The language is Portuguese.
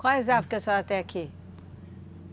Quais árvores que a senhora tem aqui?